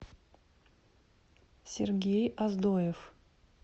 сергей оздоев